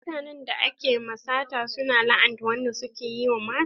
Mutanen da ake ma sata su na la'anta wanda suka yi masu mata.